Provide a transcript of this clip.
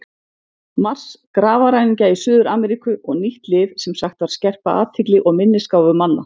Mars, grafarræningja í Suður-Ameríku og nýtt lyf sem sagt var skerpa athygli og minnisgáfu manna.